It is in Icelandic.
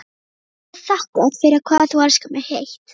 Ég er svo þakklát fyrir hvað þú elskar mig heitt.